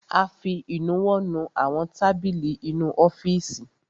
A fi ìnuwọ́ nu àwọn tábìlì inú ọ́fìsì.